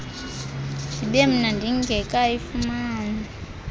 ndibe mna ndingekayifumani